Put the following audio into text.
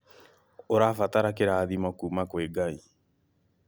Ũrabatara kĩrathimo kuma kwĩ Ngai